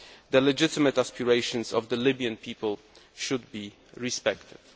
The legitimate aspirations of the Libyan people should be respected.